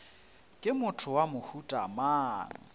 ke motho wa mohuta mang